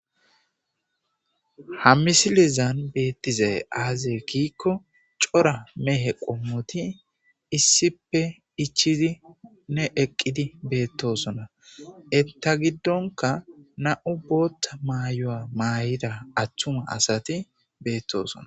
ha misilizan beettizay aazee gikko cora mehe qommoti issipe ichidi ne eqqidi beettosona etta giddonka na7u bootta maayo7a maay7ida atthuma asati beettosona